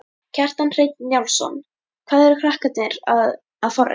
Kjartan Hreinn Njálsson: Hvað eru krakkarnir að, að forrita?